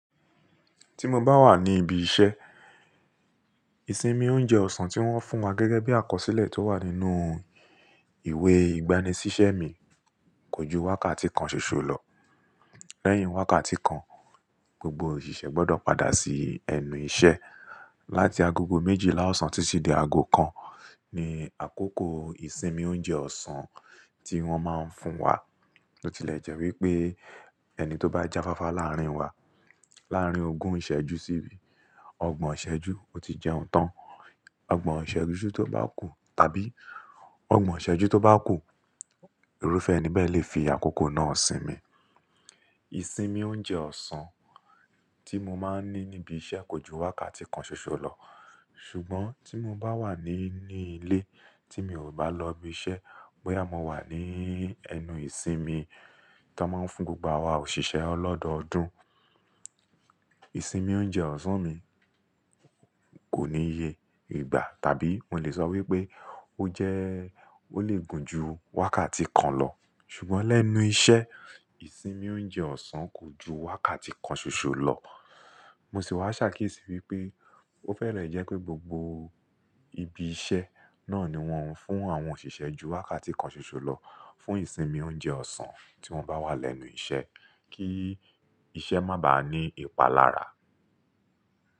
Tí mo bá wà ní ibi iṣẹ́, ìsinmi oúnjẹ ọ̀sán tí wọ́n fún wa gẹ́gẹ́ bí àkọsílẹ̀ tó wà nínú ìwé ìgbani sí iṣẹ́ mi kò ju wákàtí kan ṣoṣo lọ. Lẹ́yìn wákàtí kan, gbogbo òṣìṣẹ́ gbọ́dọ̀ padà sí ẹnu ìṣẹ́. Láti agogo méjìlá ọ̀sán títí di aago kan ni àkókò ìsinmi oúnjẹ ọ̀sán tí wọ́n máa ń fún wa. Ó tilẹ̀ jẹ́ wípé ẹni tó bá jáfáfá láàárín wa, láàárín ogún ìṣẹ́ ju sí ìbí, ọgbọ̀n ìṣẹ́ ju, ó ti jẹun tán. Ọgbọ̀n ìṣẹ́ju tó bá kú tàbí ọgbọ̀n ìṣẹ́ ju tó bá kú, irúfẹ́ ẹni bẹ́ẹ̀ lè fi àkókò náà sinmi. Ìsinmi oúnjẹ ọ̀sán tí mo máa ń ní níbi iṣẹ́ kò ju wákàtí kan ṣoṣo lọ. Ṣùgbọ́n tí mo bá wà ní ní ilé tí mi ò bá lọ ibi iṣẹ́, wáyà mo wà ní ẹnu ìsinmi tó máa ń fún gbogbo wa òṣìṣẹ́ ọlọ́dọọdún, ìsinmi oúnjẹ ọ̀sán mi kò níye ìgbà tàbí n ò lè sọ wípé ó jẹ́ ó lè gùn ju wákàtí kan lọ. Ṣùgbọ́n lẹ́nu iṣẹ́, ìsinmi oúnjẹ ọ̀sán kò ju wákàtí kan ṣoṣo lọ. Mo sì wá ṣàkíyèsí wípé ó fẹ́rẹ̀ ẹ jẹ́ pé gbogbo ibi iṣẹ́ náà ni wọ́n ń fún àwọn òṣìṣẹ́ ju wákàtí kan ṣoṣo lọ fún ìsinmi oúnjẹ ọ̀sán tí wọ́n bá wà lẹ́nu iṣẹ́ kí iṣẹ́ má bàá ní ìpalára.